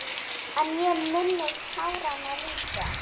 En ég minnist táranna líka.